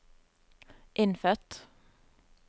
innfødt